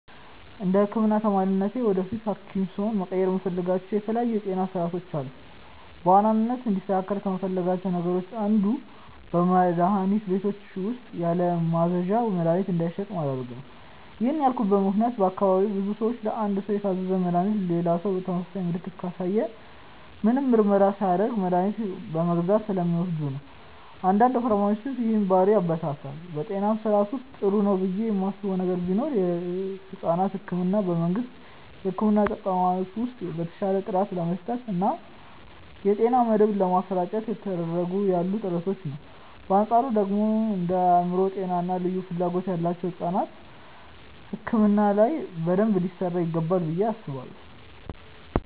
እንደ ህክምና ተማሪነቴ ወደፊት ሀኪም ስሆን መቀየር የምፈልጋቸው የተለያዩ የጤና ስርዓቶች አሉ። በዋናነት እንዲስተካከል ከምፈልጋቸው ነገሮች አንዱ በመድሀኒት ቤቶች ውስጥ ያለማዘዣ መድሀኒት እንዳይሸጥ ማድረግ ነው። ይህን ያልኩበት ምክንያት በአካባቢዬ ብዙ ሰዎች ለአንድ ሰው የታዘዘን መድሃኒት ሌላ ሰው ተመሳሳይ ምልክትን ካሳየ ምንም ምርመራ ሳያደርግ መድኃኒቱን በመግዛት ስለሚወስዱ ነው። አንዳንድ ፋርማሲስቶች ይህንን ባህሪ ያበረታታሉ። በጤና ስርዓቱ ውስጥ ጥሩ ነው ብዬ ማስበው ነገር ቢኖር የሕፃናት ሕክምናን በመንግስት የሕክምና ተቋማት ውስጥ በተሻለ ጥራት ለመስጠት እና የጤና መድህን ለማሰራጨት እየተደረጉ ያሉ ጥረቶችን ነው። በአንፃሩ ደግሞ እንደ የአእምሮ ጤና እና ልዩ ፍላጎት ያላቸው ሕፃናት ሕክምና ላይ በደንብ ሊሰራ ይገባል ብዬ አስባለሁ።